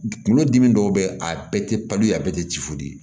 Kunkolodimi dɔw bɛ yen a bɛɛ tɛ paliye a bɛɛ tɛ ci fu ye